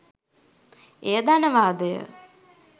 එය ධනවාදය